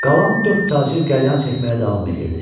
Qalan dörd tacir qəlyan çəkməyə davam eləyirdi.